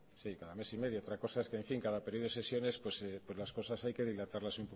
sí cada mes y medio otra cosa es que en fin cada periodo de sesiones pues las cosas hay que dilatarlas